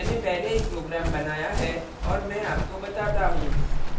मैंने पहले ही program बनाया है और मैं आपको बताता हूँ